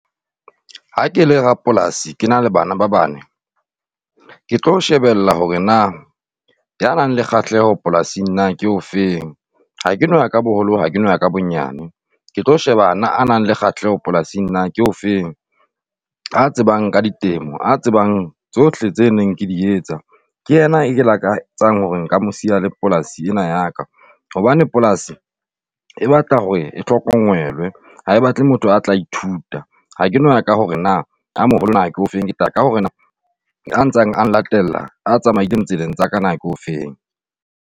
Ha ke la rapolasi, ke na le bana ba bane, ke tlo shebella hore na ya nang le kgahleho polasing na ke o feng. Ha ke no ya ka boholo, ha ke no ya ka bonyane, ke tlo sheba ana a nang le kgahleho polasing na ke o feng, a tsebang ka ditemo, a tsebang tsohle tse neng ke di etsa, ke yena e ke lakatsang hore nka mo siya la polasi ena ya ka hobane polasi e batla hore e hlokomelwe, ha e batle motho a tla ithuta. Ha ke no ya ka hore na a moholo nna ke ofeng, ka hore na a ntseng a latela a tsamaileng tseleeng tsa ka na ke o feng.